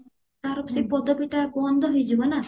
ତାର ସେଇ ପଦବୀ ଟା ବନ୍ଦ ହେଇଯିବ ନା